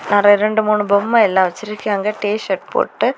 ரெண்டு மூணு பொம்மை எல்லாம் வச்சிருக்காங்க டீ_ஷர்ட் போட்டு.